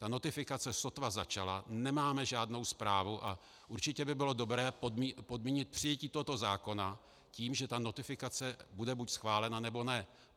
Ta notifikace sotva začala, nemáme žádnou zprávu a určitě by bylo dobré podmínit přijetí tohoto zákona tím, že ta notifikace bude buď schválena, nebo ne.